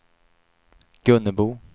Gunnebo